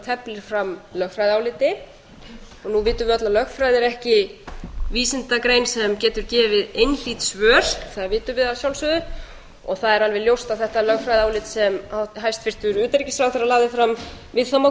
teflir fram lögfræðiáliti nú vitum við öll að lögfræði er ekki vísindagrein sem getur gefið einhlít svör það vitum við að sjálfsögðu og það er alveg ljóst að þetta lögfræðiálit sem hæstvirtur utanríkisráðherra lagði fram við það má